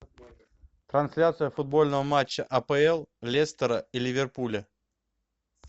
трансляция футбольного матча апл лестера и ливерпуля